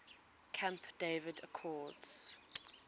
camp david accords